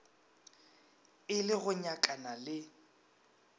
e le go nyakana le